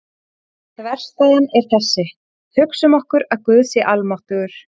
Þverstæðan er þessi: Hugsum okkur að Guð sé almáttugur.